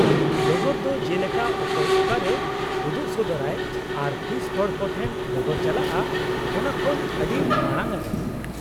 -ᱰᱚᱜᱚᱨ ᱫᱚ ᱡᱮᱞᱮᱠᱟ ᱚᱠᱚᱭ ᱚᱠᱟᱨᱮ ᱩᱫᱩᱜ ᱥᱚᱫᱚᱨᱟᱭ ᱟᱨ ᱛᱤᱥ ᱦᱚᱲ ᱠᱚᱴᱷᱮᱱ ᱰᱚᱜᱚᱨ ᱪᱟᱞᱟᱜᱼᱟ ᱚᱱᱟ ᱠᱷᱚᱱ ᱟᱰᱤ ᱢᱟᱲᱟᱝ ᱨᱮ ?